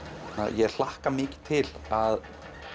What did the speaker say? ég hlakka mikið til að